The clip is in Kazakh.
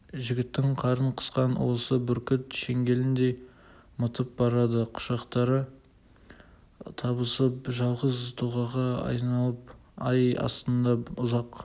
жігіттің қарын қысқан уысы бүркіт шеңгеліндей мытып барады құшақтары табысып жалғыз тұлғаға айналып ай астында ұзақ